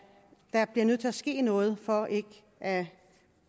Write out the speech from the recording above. der bliver nødt til at ske noget for at